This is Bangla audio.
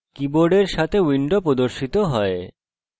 কীবোর্ডের সাথে window প্রদর্শিত হয়